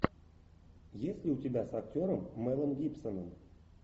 есть ли у тебя с актером мэлом гибсоном